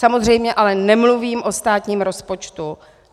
Samozřejmě ale nemluvím o státním rozpočtu.